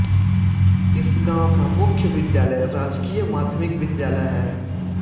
इस गाँव का मुख्य विद्यालय राजकीय माध्यमिक विद्यालय है